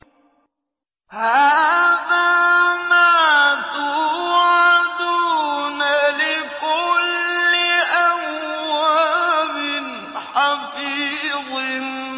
هَٰذَا مَا تُوعَدُونَ لِكُلِّ أَوَّابٍ حَفِيظٍ